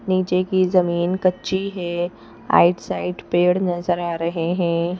नीचे की जमीन कच्ची है आइटसाइट पेड़ नजर आ रहे हैं।